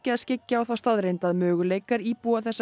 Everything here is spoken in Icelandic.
að skyggja á þá staðreynd að möguleikar íbúa þessa